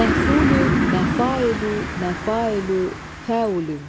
Məfül, məfəil, məfəil, fəülün.